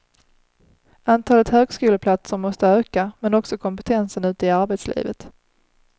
Antalet högskoleplatser måste öka, men också kompetensen ute i arbetslivet.